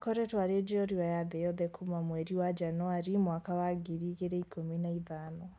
Akoretwo arĩ njorua ya thĩ yothe kuma mweri wa Januarĩ mwaka wa ngiri igĩrĩ ikũmi na ithano